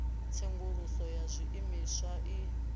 ya tsenguluso ya zwiimiswa i